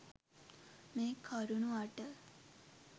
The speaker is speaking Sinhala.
මේ කරුණු අට